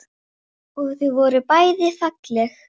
Þú veist ekki allt.